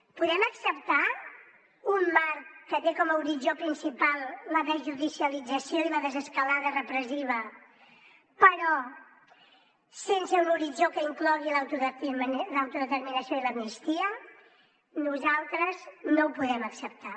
podem acceptar un marc que té com a horitzó principal la desjudicialització i la desescalada repressiva però sense un horitzó que inclogui l’autodeterminació i l’amnistia nosaltres no ho podem acceptar